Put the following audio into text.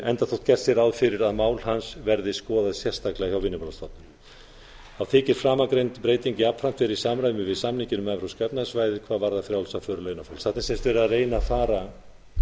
enda þótt gert sé ráð fyrir að mál hans verði skoðað sérstaklega hjá vinnumálastofnun þá þykir framangreind breyting jafnframt vera í samræmi við samninginn um evrópska efnahagssvæðið hvað varðar frjálsa för launafólks þarna er sem sagt verið að reyna að fara